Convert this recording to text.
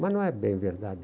Mas não é bem verdade.